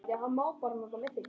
Ég mun sakna þín alltaf.